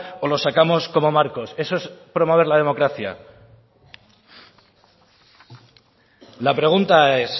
o lo sacamos como marcos eso es promover la democracia la pregunta es